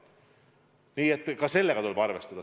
Selle palvega tuleb arvestada.